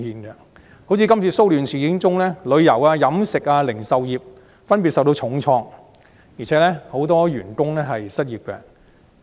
以今次騷亂事件為例，旅遊業、飲食業和零售業分別遭受重創，很多員工亦失業。